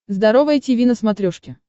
здоровое тиви на смотрешке